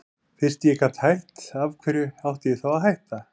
Fyrst ég gat hætt, af hverju átti ég þá að hætta?